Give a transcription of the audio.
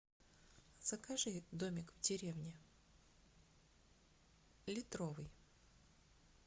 закажи домик в деревне литровый